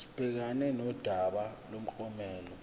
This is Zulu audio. sibhekane nodaba lomklomelo